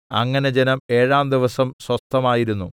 അങ്ങനെ ജനം ഏഴാം ദിവസം സ്വസ്ഥമായിരുന്നു